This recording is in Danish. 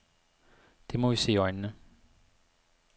Det må vi se i øjnene.